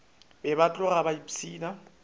be ba tloga ba ipshina